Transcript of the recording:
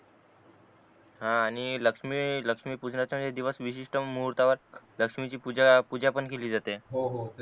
हा आणि लक्ष्मी लक्ष्मी पूजनाचा वेळी दिवस विशिष्ट मुहूर्तावर लक्ष्मी ची पूजा पूजा पण केली जाते हो हो ते